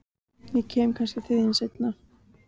Ég kem kannski seinna til þín.